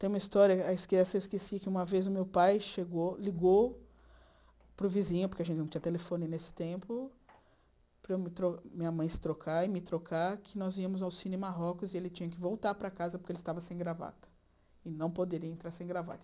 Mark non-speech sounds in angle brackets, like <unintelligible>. Tem uma história, ah <unintelligible> esqueci, que uma vez o meu pai ligou para o vizinho, porque a gente não tinha telefone nesse tempo, para a minha mãe se trocar e me trocar, que nós íamos ao Cine Marrocos e ele tinha que voltar para casa porque ele estava sem gravata e não poderia entrar sem gravata.